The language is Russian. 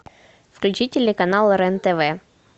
включи телеканал рен тв